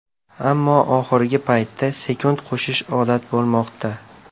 Ammo oxirgi paytda sekund qo‘shish odat bo‘lmoqda.